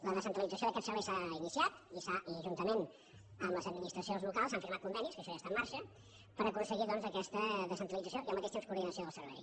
la descentralització d’aquest servei s’ha iniciat i juntament amb les administracions locals s’han firmat convenis que això ja està en marxa per aconseguir doncs aquesta descentralització i al mateix temps coordinació del servei